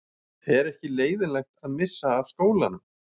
Er ekki leiðinlegt að missa af skólanum?